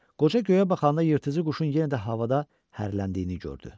Qoca göyə baxanda yırtıcı quşun yenə də havada hərləndiyini gördü.